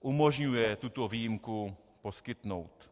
umožňuje tuto výjimku poskytnout.